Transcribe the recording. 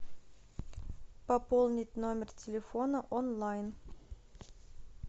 пополнить номер телефона онлайн